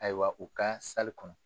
Ayiwa u ka kɔnɔ.